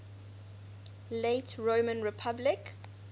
late roman republic